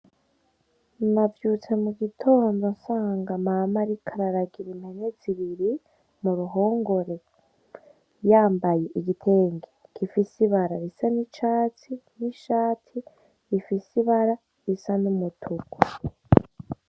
Navyutse mu gitondo nsanga Mama ariko araragira impene zibiri mu ruhongore, yambaye igitenge gifise ibara risa n'icatsi n'ishati rifise ibara risa n'umutuku.